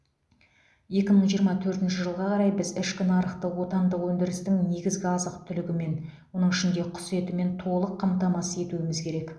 екі мың жиырма төртінші жылға қарай біз ішкі нарықты отандық өндірістің негізгі азық түлігімен оның ішінде құс етімен толық қамтамасыз етуіміз керек